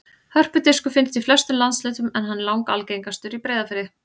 Hörpudiskur finnst í flestum landshlutum en hann er langalgengastur í Breiðafirði.